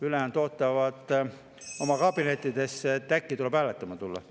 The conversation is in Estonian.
Ülejäänud ootavad oma kabinettides, et äkki tuleb hääletama tulla.